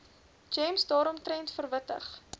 gems daaromtrent verwittig